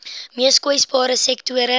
mees kwesbare sektore